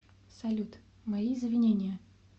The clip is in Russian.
салют мои извинения